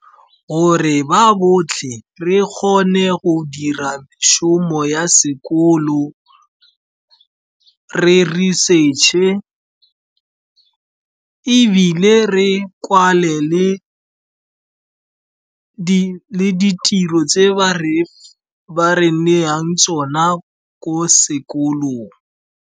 Gore ba botlhe re kgone go dira šomo ya sekolo, re research-e, ebile re kwale le ditiro tse ba re neyang tsona ko sekolong.